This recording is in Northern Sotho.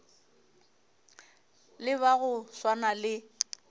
le ba go swana le